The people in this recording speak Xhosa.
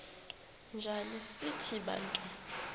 njana sithi bantu